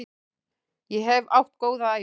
Ég hef átt góða ævi.